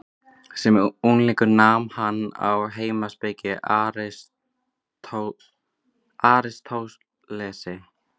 Sem unglingur nam hann hjá heimspekingnum Aristótelesi.